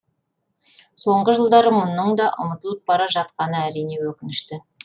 соңғы жылдары мұның да ұмытылып бара жатқаны әрине өкінішті